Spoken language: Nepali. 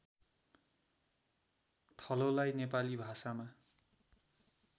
थलोलाई नेपाली भाषामा